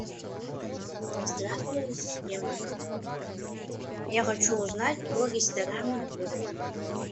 здравствуй ассистент я хочу узнать про рестораны в городе